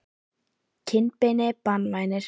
kinnbeini banvænir?